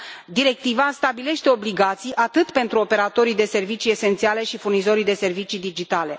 Directiva stabilește obligații pentru operatorii de servicii esențiale și furnizorii de servicii digitale.